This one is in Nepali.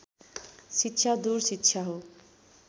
शिक्षा दूर शिक्षा हो